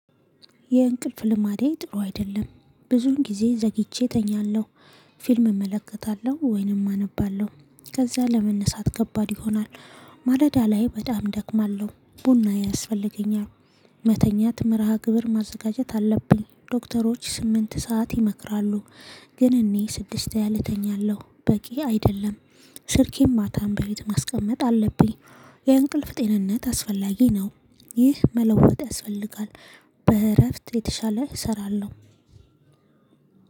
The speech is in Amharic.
የእንቅልፍ ልማዴ ጥሩ አይደለም ብዙን ጊዜ ዘግይቼ እተኛለሁ። ፊልም እመለከታለሁ ወይንም አነባለሁ ከዛ ለመነሳት ከባድ ይሆናል። ማለዳ ላይ በጣም እደክማለሁ ቡና ያስፈልገኛል። መተኛት መርሃ ግብር ማዘጋጀት አለብኝ ዶክተሮች ስምንት ሰዓት ይመክራሉ። ግን እኔ ስድስት ያህል እተኛለሁ በቂ አይደለም። ስልኬን ማታን በቤት ማስቀመጥ አለብኝ። የእንቅልፍ ጤንነት አስፈላጊ ነው። ይህ መለወጥ ያስፈልጋል። በእረፍት የተሻለ እሰራለሁ።